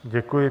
Děkuji.